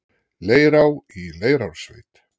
Leirá í Leirársveit.